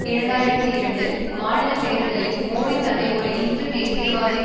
இரண்டு ஆயிரத்தி இரண்டு மாநில தேர்தலில் மோடி தன்னை ஒரு இந்து தேசியவாதி